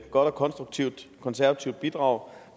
godt og konstruktivt konservativt bidrag